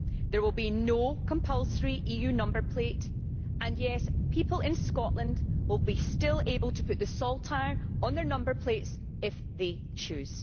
there will be no compulsory EU number plate and yes, people in Scotland will still be able to put the saltire on their number plates if they choose.